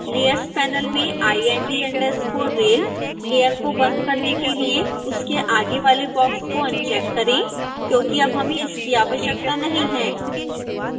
layers panel में ind_rail layer को बंद करने के लिए उसके आगे वाले बॉक्स को अनचेक करें क्योंकि हमें अब इसकी आवश्यकता नहीं है